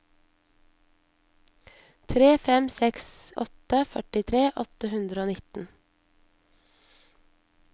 tre fem seks åtte førtitre åtte hundre og nitten